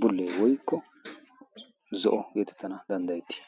bullee woikko zo'o geetettana danddayettii?